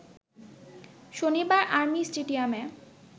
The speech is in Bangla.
শনিবার আর্মি স্টেডিয়ামে